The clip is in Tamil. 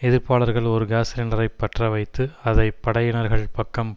எதிர்ப்பாளர்கள் ஒரு காஸ் சிலிண்டரைப் பற்ற வைத்து அதை படையினர்கள் பக்கம்